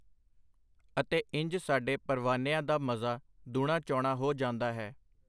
ਅਤੇ ਇੰਜ ਸਾਡੇ ਪਰਵਾਨਿਆਂ ਦਾ ਮਜ਼ਾ ਦੂਣਾਚੌਣਾ ਹੋ ਜਾਂਦਾ ਹੈ.